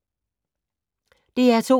DR2